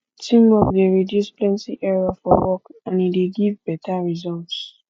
teamwork de reduce plenty error for work and e de give better results